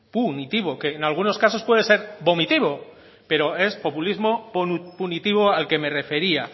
punitivo que en algunos casos puede ser vomitivo pero es populismo punitivo al que me refería